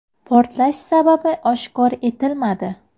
Portlash sababi oshkor etilmadi.